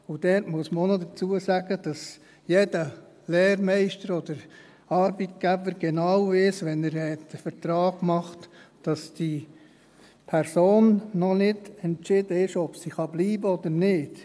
Und dort muss man auch noch dazu sagen, dass jeder Lehrmeister oder Arbeitgeber, wenn er den Vertrag macht, genau weiss, dass bei dieser Person noch nicht entschieden ist, ob sie bleiben kann oder nicht.